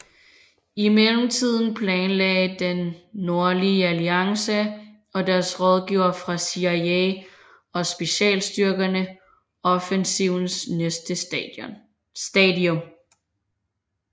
I mellemtiden planlagde Den Nordlige Alliance og deres rådgivere fra CIA og specialstyrkerne offensivens næste stadium